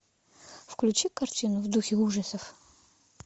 включи картину в духе ужасов